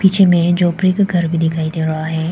पीछे में झोपड़ी का घर भी दिखाई दे रहा है।